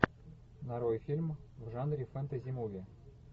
нарой фильм в жанре фэнтези муви